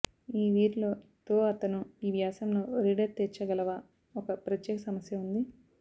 ఈ వీరిలో తో అతను ఈ వ్యాసంలో రీడర్ తీర్చగలవా ఒక ప్రత్యేక సమస్య ఉంది